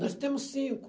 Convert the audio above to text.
Nós temos cinco.